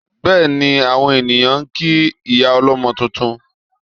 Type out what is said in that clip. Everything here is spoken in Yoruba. Bẹ́ẹ̀ni, àwọn ènìyàn ń kí ìyá ọlọ́mọ tuntun